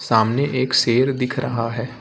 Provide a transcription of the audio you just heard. सामने एक शेर दिख रहा है।